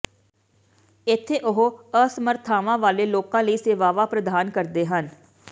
ਇੱਥੇ ਉਹ ਅਸਮਰਥਤਾਵਾਂ ਵਾਲੇ ਲੋਕਾਂ ਲਈ ਸੇਵਾਵਾਂ ਪ੍ਰਦਾਨ ਕਰਦੇ ਹਨ